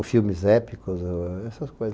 Os filmes épicos, essas coisas.